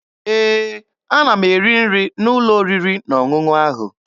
Ee, ana m eri nri n'ụlọ oriri na ọṅụṅụ ahụ.